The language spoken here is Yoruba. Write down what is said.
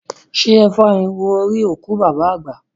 Ṣé ẹ fá irú orí òkú bàbá àgbà?